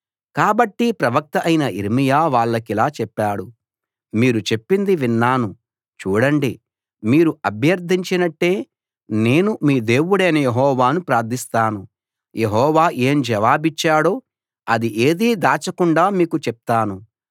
కాబట్టి ప్రవక్త అయిన యిర్మీయా వాళ్లకిలా చెప్పాడు మీరు చెప్పింది విన్నాను చూడండి మీరు అభ్యర్ధించినట్టే నేను మీ దేవుడైన యెహోవాను ప్రార్ధిస్తాను యెహోవా ఏం జవాబిచ్చాడో అది ఏదీ దాచకుండా మీకు చెప్తాను